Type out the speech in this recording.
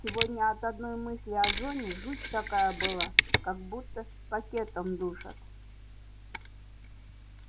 сегодня от одной мысли о зоне жуть такая была как будто пакетом душат